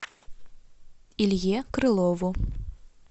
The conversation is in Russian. илье крылову